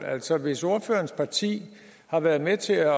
altså hvis ordførerens parti har været med til